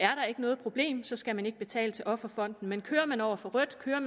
ikke noget problem så skal man ikke betale til offerfonden men kører man over for rødt eller